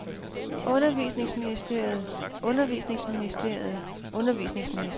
undervisningsministeriet undervisningsministeriet undervisningsministeriet